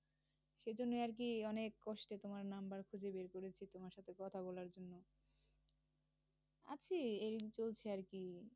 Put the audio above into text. সে জন্য আর কি অনেক কষ্টে তোমার number খুঁজে বের করেছি, তোমার সাথে কথা বলার জন্য। আছি এই চলছে আর কি?